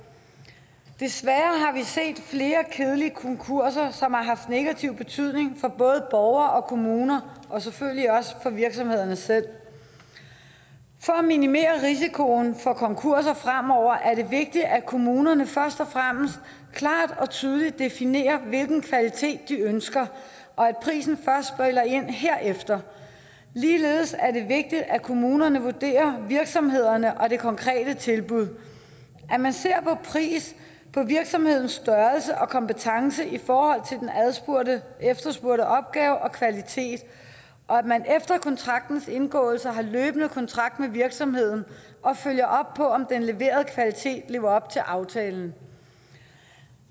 desværre har set flere kedelige konkurser som har haft negativ betydning for både borgere og kommuner og selvfølgelig også for virksomhederne selv for at minimere risikoen for konkurser fremover er det vigtigt at kommunerne først og fremmest klart og tydeligt definerer hvilken kvalitet de ønsker og at prisen først spiller ind herefter ligeledes er det vigtigt at kommunerne vurderer virksomhederne og det konkrete tilbud at man ser på pris på virksomhedens størrelse og kompetence i forhold til den efterspurgte opgave og kvalitet og at man efter kontraktens indgåelse har løbende kontakt med virksomheden og følger op på om den leverede kvalitet lever op til aftalen